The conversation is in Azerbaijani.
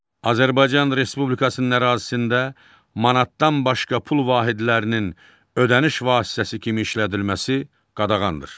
Azərbaycan Respublikasının ərazisində manatdan başqa pul vahidlərinin ödəniş vasitəsi kimi işlədilməsi qadağandır.